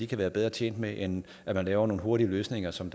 kan være bedre tjent med end at man laver nogle hurtige løsninger som